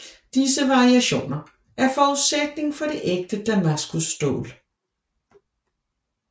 Disse variationer er forudsætningen for det ægte damaskusstål